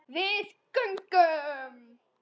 Við göngum